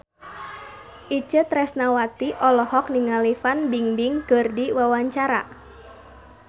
Itje Tresnawati olohok ningali Fan Bingbing keur diwawancara